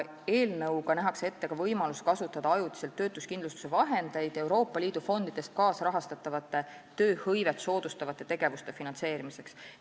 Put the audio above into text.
Eelnõuga nähakse ette ka võimalus kasutada ajutiselt töötuskindlustuse vahendeid Euroopa Liidu fondidest kaasrahastatavate tööhõivet soodustavate tegevuste finantseerimiseks.